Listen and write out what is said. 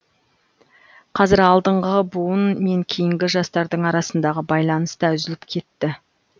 қазір алдыңғы буын мен кейінгі жастардың арасындағы байланыс та үзіліп кетті